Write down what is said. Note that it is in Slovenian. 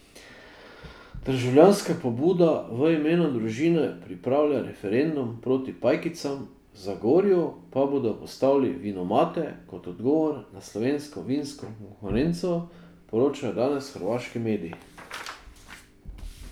Državljanska pobuda V imenu družine pripravlja referendum proti pajkicam, v Zagorju pa bodo postavili vinomate kot odgovor na slovensko vinsko konkurenco, poročajo danes hrvaški mediji.